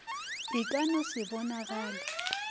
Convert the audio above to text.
e ka no se bonagale